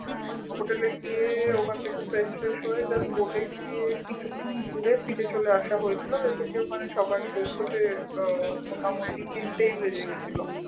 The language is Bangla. hotel এ গিয়ে ওখানে থেকে fresh ট্রেস হয়ে just boat এ গিয়ে কিছুক্ষন ঘুরে ফিরে চলে আসা হয়েছিল because ওখানে সবার পৌঁছুতে আহ মোটামোটি তিনটেই বেজে গেছিল